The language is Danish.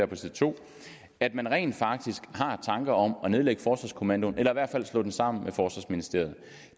på side to at man rent faktisk har tanker om at nedlægge forsvarskommandoen eller i hvert fald slå den sammen med forsvarsministeriet